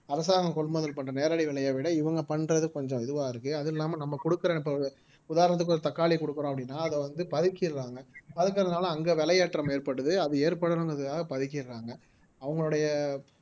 அரசாங்கம் கொள்முதல் பண்ற நேரடி விலையை விட இவங்க பண்றது கொஞ்சம் இதுவா இருக்கு அது இல்லாம நம்ம கொடுக்கிற இப்ப உதாரணத்துக்கு ஒரு தக்காளி கொடுக்குறோம் அப்படின்னா அதை வந்து பதுக்கிடறாங்க பதுக்குறதுனால அங்க விலையேற்றம் ஏற்பட்டது அது ஏற்படுங்கிறதுக்காக பதுக்கிடுறாங்க அவங்களுடைய